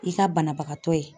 I ka banabagatɔ ye